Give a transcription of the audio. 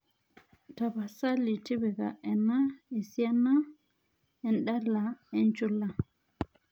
tapasali tipika ena esiana endala enchula